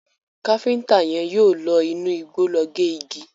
Kafiñta yén yíò ló inú igbó ló gé igi.